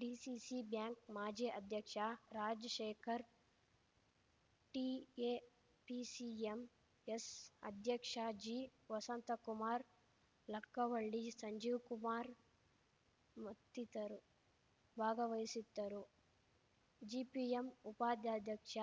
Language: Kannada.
ಡಿಸಿಸಿ ಬ್ಯಾಂಕ್‌ ಮಾಜಿ ಅಧ್ಯಕ್ಷ ರಾಜಶೇಖರ್ ಟಿಎಪಿಸಿಎಂಎಸ್‌ ಅಧ್ಯಕ್ಷ ಜಿ ವಸಂತಕುಮಾರ್‌ ಲಕ್ಕವಳ್ಳಿ ಸಂಜೀವ್‌ಕುಮಾರ್‌ ಮತ್ತಿತರು ಭಾಗವಹಿಸಿದ್ದರು ಜಿಪಿಎಂ ಉಪಾದಾಧ್ಯಕ್ಷ